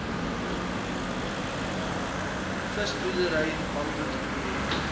visboerdery bamboed projek